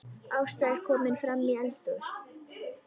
Ásta er komin framí eldhús.